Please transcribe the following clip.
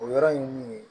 O yɔrɔ ye min ye